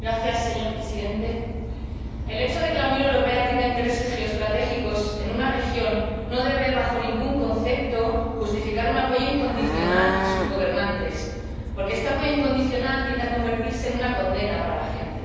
Señor Presidente, el hecho de que la Unión Europea tenga intereses geoestratégicos en una región no debe, bajo ningún concepto, justificar un apoyo incondicional a sus gobernantes, porque este apoyo incondicional tiende a convertirse en una condena para la gente.